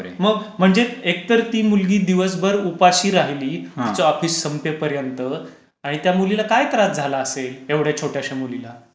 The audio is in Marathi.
मग म्हणजे एक तर ती मुलगी दिवसभर उपाशी राहिली, तिचं ऑफिस संपेपर्यंत आणि त्या मुलीला काय त्रास झालं असेल, एवढ्या छोट्याशा मुलीला.